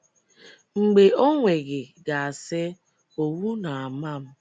Mgbe ọ nweghị ga- asị, “ Owu Na - ama m”.